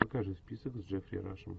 покажи список с джеффри рашем